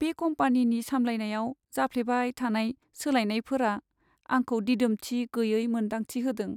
बे कम्पानिनि सामलायनायाव जाफ्लेबाय थानाय सोलायनायफोरा आंखौ दिदोमथि गैयै मोन्दांथि होदों।